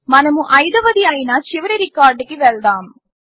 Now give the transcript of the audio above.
మనము అయిదవది అయిన చివరి రికార్డ్కి వెళ్దాము